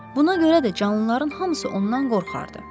Buna görə də canlıların hamısı ondan qorxardı.